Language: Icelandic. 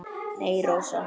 Nei, Rósa.